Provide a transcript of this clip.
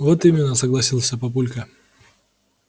вот именно согласился папулька